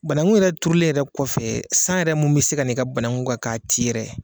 Banaku yɛrɛ turulen kɔfɛ yɛrɛ kɔfɛ san yɛrɛ mun bi se ka n'i ka banaku kan k'a ti yɛrɛ.